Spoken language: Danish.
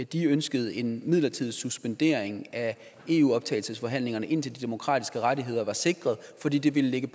de ønskede en midlertidig suspendering af eu optagelsesforhandlingerne indtil de demokratiske rettigheder var sikret fordi det ville lægge